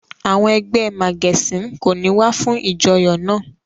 Àwọn ẹgbẹ́ màgẹ̀sín kò ní wá fún ìjọyọ̀ náà.